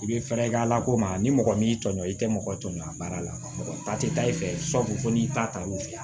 I bɛ fɛɛrɛ kɛ a lakodɔn ani mɔgɔ min y'i tɔɲɔ i tɛ mɔgɔ tɔɲɔn a baara la mɔgɔ ta tɛ taa i fɛ sabu n'i ta y'u fɛ ye